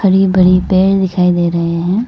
बरी बरी पेर दिखाई दे रहे है।